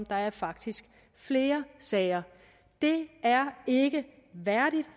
der er faktisk flere sager det er ikke værdigt